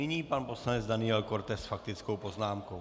Nyní pan poslanec Daniel Korte s faktickou poznámkou.